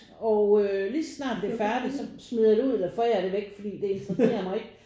Og øh lige så snart det er færdigt så smider jeg det ud eller forærer det væk fordi det interesserer mig ikke